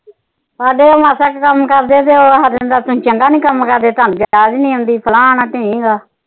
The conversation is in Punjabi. ਸਾਡੇ ਤਾ ਮਸਾਂ ਕਿ ਕੰਮ ਕਰਦੇ ਆ ਤੇ ਉਹ ਤੁਸੀ ਚੰਗਾ ਨੀ ਕੰਮ ਕਰਦੇ ਤੁਹਾਨੂੰ ਯਾਦ ਨਹੀਂ ਹੁੰਦੀ ਫਲਾਣਾ ਢੀਂਗ,